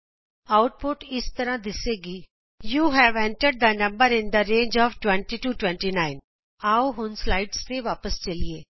output ਇੰਝ ਆਏਗੀ160 you have entered the number in the range of 20 29 ਆਉ ਹੁਣ ਆਪਣੇ ਸਲਾਈਡਸ ਤੇ ਵਾਪਸ ਚਲੀਏ